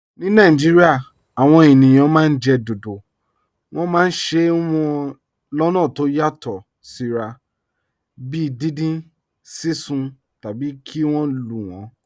Ní Nàìjíríà, àwọn ènìyàn máa ń jẹ dodo. Wọ́n máa ń se wọ́n lọ́nà tó yàtọ̀ síra, bíi dindin, sísun, tàbí kí wọ́n lù wọ́n.